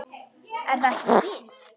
Er það ekki Fis?